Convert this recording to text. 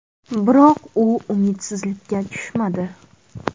Biroq u umidsizlikka tushmadi.